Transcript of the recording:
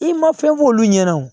I ma fɛn f'olu ɲɛna o